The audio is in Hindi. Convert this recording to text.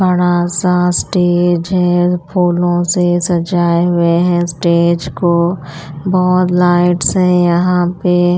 बड़ा सा स्टेज है फूलों से सजाए हुए हैं स्टेज को बहुत लाइट्स है यहाँ पे --